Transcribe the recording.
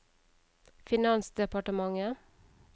finansdepartementet